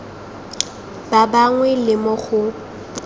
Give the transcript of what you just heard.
ba bangwe le mo go